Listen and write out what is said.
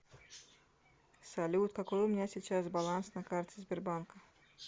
салют какой у меня сейчас баланс на карте сбербанка